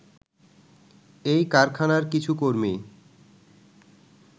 এই কারখানার কিছু কর্মী